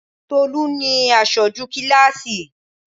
Tolú ni Asoju kíláásì